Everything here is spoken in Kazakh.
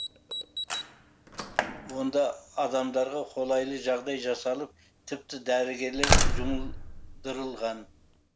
онда адамдарға қолайлы жағдай жасалып тіпті дәрігерлер жұмдырылған